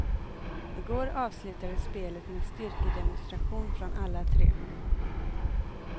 Igår avslutades spelet med styrkedemonstration från alla tre.